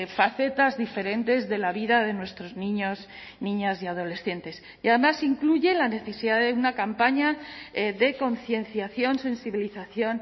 facetas diferentes de la vida de nuestros niños niñas y adolescentes y además incluye la necesidad de una campaña de concienciación sensibilización